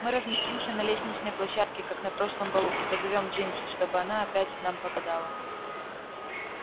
мы разместимся на лестничной площадке как на прошлом балу и позовём джинси чтобы она опять нам погадала